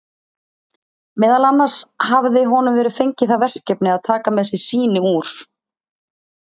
Meðal annars hafði honum verið fengið það verkefni að taka með sér sýni úr